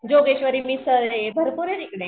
जोगेश्वरी मिसळ आहे भरपूर आहे तिकडं.